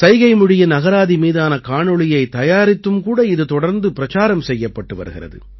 சைகைமொழியின் அகராதி மீதான காணொளியைத் தயாரித்தும் கூட இது தொடர்ந்து பிரச்சாரம் செய்யப்பட்டு வருகிறது